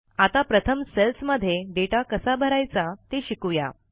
आता प्रथमcells मध्ये डेटा कसा भरायचा ते शिकू या